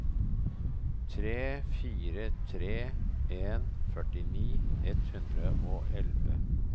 tre fire tre en førtini ett hundre og elleve